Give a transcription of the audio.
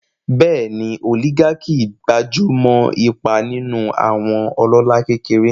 Bẹ́ẹ̀ni, oligarchy gbájú mọ́ ipa nínú àwọn ọlọ́lá kékeré.